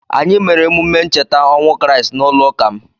Anyị mere emume ncheta ọnwụ Kriisti n'ụlọụka m.